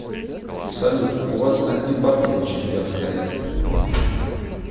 салют у вас одни бабки в очередях стоят